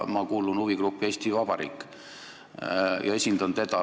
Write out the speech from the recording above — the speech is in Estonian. Ma kuulun huvigruppi "Eesti Vabariik" ja esindan seda.